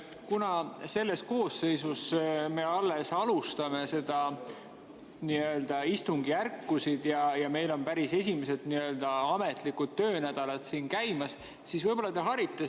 Kuna selles koosseisus me alles alustame istungjärkusid ja meil on päris esimesed ametlikud töönädalad käimas, siis võib-olla te harite meid.